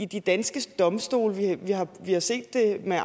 de danske domstole vi har det set i